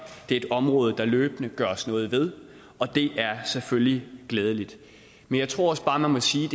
er et område der løbende gøres noget ved og det er selvfølgelig glædeligt men jeg tror også bare man må sige